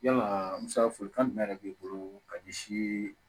Yalaa musaka folikan jumɛn de b'i bolo ka ɲɛsin